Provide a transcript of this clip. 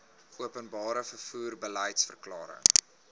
openbare vervoer beliedsverklaring